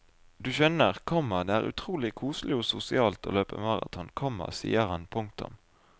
Du skjønner, komma det er utrolig koselig og sosialt å løpe maraton, komma sier han. punktum